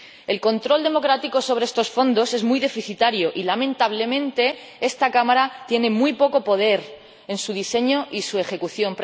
el control democrático sobre estos fondos es muy deficitario y, lamentablemente, esta Cámara tiene muy poco poder en su diseño y su ejecución